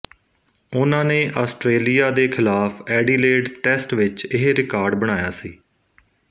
ਉਹਨਾਂ ਨੇ ਆਸਟਰੇਲੀਆ ਦੇ ਖ਼ਿਲਾਫ਼ ਐਡੀਲੇਡ ਟੈਸਟ ਵਿੱਚ ਇਹ ਰਿਕਾਰਡ ਬਣਾਇਆ ਸੀ